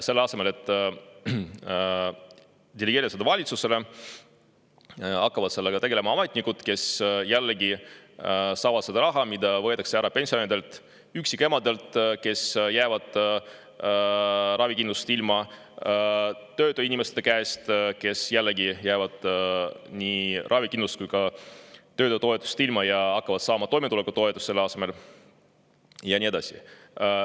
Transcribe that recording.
Selle asemel, et delegeerida seda valitsusele, hakkavad sellega tegelema ametnikud, kes jällegi saavad seda raha, mis võetakse ära pensionäridelt, emadelt, kes jäävad ilma ravikindlustusest, tööta inimeste käest, kes ka jäävad ilma nii ravikindlustusest kui ka töötutoetusest ja hakkavad selle asemel saama toimetulekutoetust, ja nii edasi.